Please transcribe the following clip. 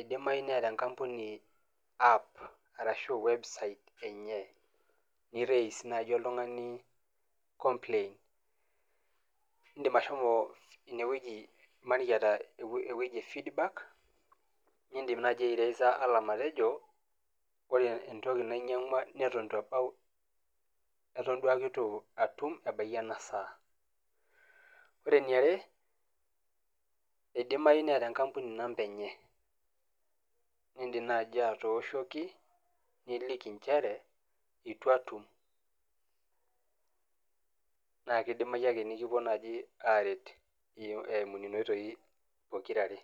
idimayu neeta enkampuni app, arashu website enye. Ni raise naji oltung'ani complaint. Idim ashomo inewoji imaniki eeta ewoji e feedback, nidim naji aireisa alarm atejo, ore entoki nainyang'ua neton itu ebao, eton duake itu atum ebaiki enasaa. Ore eniare, idimayu neeta enkampuni inamba enye. Nidim naji atooshoki, niliki njere, itu atum. Na kidimayu ake nikipuo naji aret eimu nena oitoi pokirare.